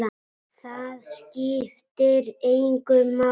Það skiptir mig máli.